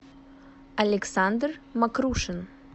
александр макрушин